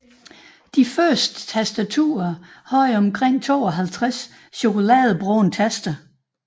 De første tastaturer havde omkring 52 chokoladebrune taster